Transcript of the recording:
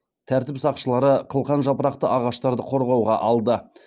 тәртіп сақшылары қылқан жапырақты ағаштарды қорғауға алды